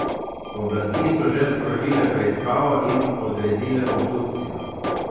Oblasti so že sprožile preiskavo in odredile obdukcijo.